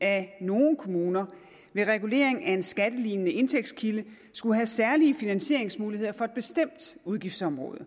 at nogle kommuner med regulering af en skattelignende indtægtskilde skulle have særlige finansieringsmuligheder for et bestemt udgiftsområde